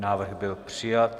Návrh byl přijat.